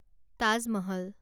Taj Mahal